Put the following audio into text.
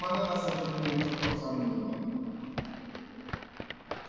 म्हणत असल तर तुम्ही चक्क सांगून द्या मला.